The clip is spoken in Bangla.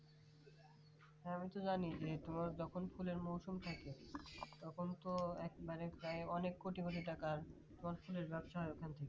হ্যাঁ আমি তো জানি যখন তোমার ফুলের মৌসুম থাকে তখন তো এক মানে প্রায় অনেক কোটি কোটি টাকা ফুলের গাছ হয় ওখানে